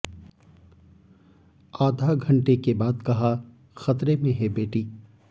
आधा घंटे के बाद कहा खतरे में है बेटी